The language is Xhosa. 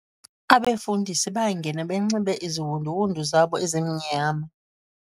Abefundisi bangena benxibe iziwunduwundu zabo ezimnyama